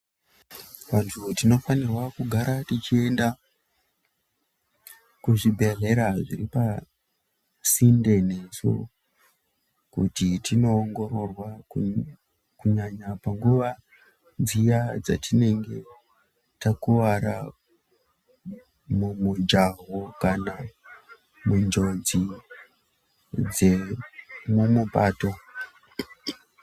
Vanthu tinofanirwa kugara techienda, kuzvibhedhlera zviri pasinde nesu, kuti tinoongororwa kunyanya panguwa dziya dzatinenge takuwara mumujaho kana munjodzi dzemumapato.